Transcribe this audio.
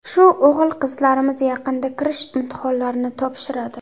Shu o‘g‘il-qizlarimiz yaqinda kirish imtihonlarini topshiradi.